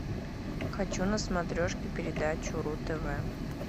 хочу на смотрешке передачу ру тв